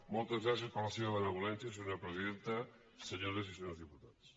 moltes gràcies per la seva benevolència senyora presidenta senyores i senyors diputats